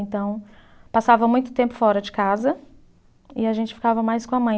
Então, passava muito tempo fora de casa e a gente ficava mais com a mãe.